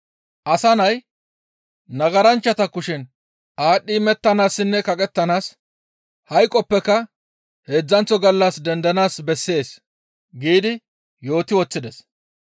Asa Nay nagaranchchata kushen aadhdhi imettanaassinne kaqettanaas, hayqoppeka heedzdzanththo gallas dendanaas bessees» giidi yooti woththides.